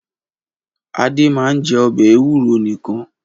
Adé máa ń jẹ ọbẹ̀ ewúro nìkan?